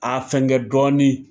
A fɛngɛ dɔɔni.